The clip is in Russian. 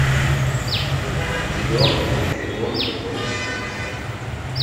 кино общий дом можешь включить